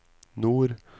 nord